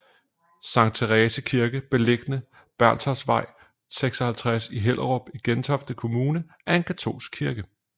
Sankt Therese Kirke beliggende Bernstorffsvej 56 i Hellerup i Gentofte Kommune er en katolsk kirke